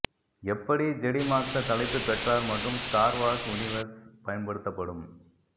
எப்படி Jedi master தலைப்பு பெற்றார் மற்றும் ஸ்டார் வார்ஸ் யுனிவர்ஸ் பயன்படுத்தப்படும்